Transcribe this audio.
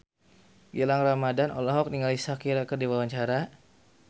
Gilang Ramadan olohok ningali Shakira keur diwawancara